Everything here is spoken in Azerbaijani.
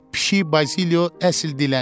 Pişik Bazilyo əsl dilənçidir.